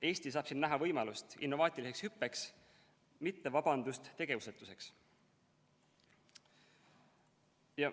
Eesti saab siin näha võimalust innovaatiliseks hüppeks, mitte vabandust tegevusetuseks.